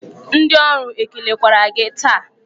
Ndị ọrụ ekelekwara gị taa?